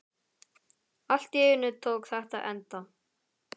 Allt í einu tók þetta enda.